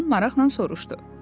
Oğlan maraqla soruşdu.